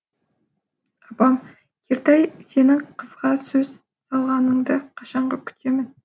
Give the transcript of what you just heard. апам ертай сенің қызға сөз салғаныңды қашанғы күтемін